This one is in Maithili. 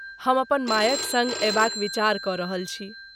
हम अपन मायक सङ्ग अयबाक विचार कऽ रहल छी।